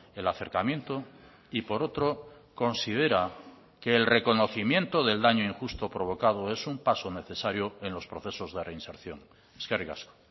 el acercamiento y por otro considera que el reconocimiento del daño injusto provocado es un paso necesario en los procesos de reinserción eskerrik asko